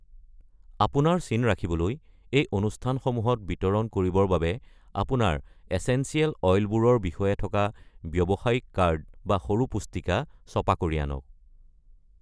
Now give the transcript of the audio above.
আপোনাৰ চিন ৰাখিবলৈ, এই অনুস্থানসমূহত বিতৰণ কৰিবৰ বাবে আপোনাৰ এচেঞ্চিয়েল অইলবোৰৰ বিষয়ে থকা ব্যবসায়িক কাৰ্ড বা সৰু পুস্তিকা ছপা কৰি আনক।